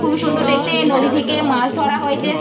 খুবই সুন্দর দেখতে নদী থেকে মাছ ধরা হয়েছে স --